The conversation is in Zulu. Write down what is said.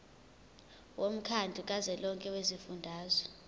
womkhandlu kazwelonke wezifundazwe